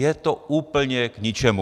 Je to úplně k ničemu.